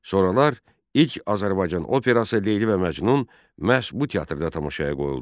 Sonralar ilk Azərbaycan operası Leyli və Məcnun məhz bu teatrda tamaşaya qoyuldu.